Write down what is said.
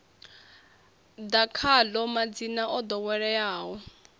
ḓa khaḽo madzina o ḓoweleaho